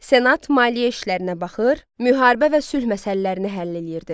Senat maliyyə işlərinə baxır, müharibə və sülh məsələlərini həll eləyirdi.